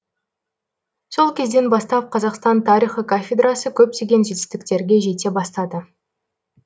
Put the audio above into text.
сол кезден бастап қазақстан тарихы кафедрасы көптеген жетістіктерге жете бастады